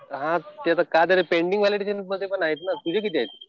हा ते आता काय झालं पेंडिंग वाले त्याच्यातच आहे ना. तुझे किती आहेत?